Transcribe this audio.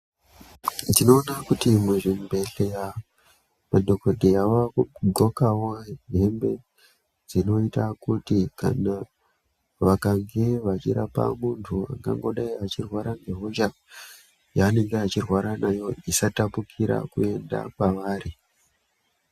Ndinoona kuti muzvibhehleya madhokodheya vavakudhlokawo hembe dzinoita kuti kana vakange vachirapa munhu angangodai achirwara ngehosha yaanenge achirwara nayo isatapukira kuenda kwavari.